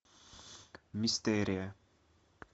мистерия